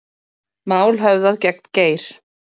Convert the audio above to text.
Mál höfðað gegn Geir